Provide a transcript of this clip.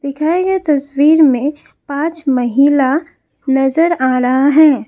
दिखाए गए तस्वीर में पांच महिला नजर आ रहा है।